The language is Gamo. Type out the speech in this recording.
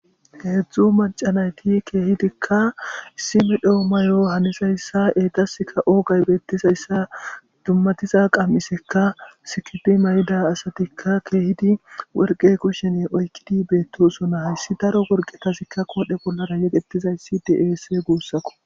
heedzdzu macanayti keehidikka issimi dhoo mayo hanisayssa eetaska oogay beettizayssa dummatiza qammiseka sikidi may7ida asatikka keehidi worqe kushene oykkidi beettosona hayssi daro worqetasikka koodhe pollara yegettizayssi deese guussakko